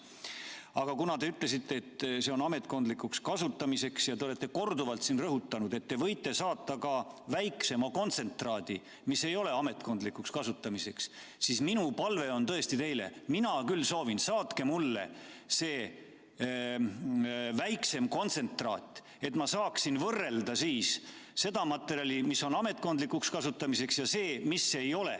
Aga kuna te ütlesite, et see on ametkondlikuks kasutamiseks, ja te olete korduvalt rõhutanud, et te võite saata ka väiksema kontsentraadi, mis ei ole ametkondlikuks kasutamiseks, siis mul on tõesti teile palve: mina küll soovin seda, saatke mulle see väiksem kontsentraat, et ma saaksin võrrelda seda materjali, mis on ametkondlikuks kasutamiseks, sellega, mis ei ole.